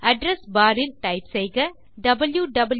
address bar ல் type செய்க wwwgooglecom